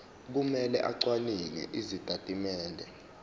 kumele acwaninge izitatimende